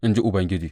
in ji Ubangiji.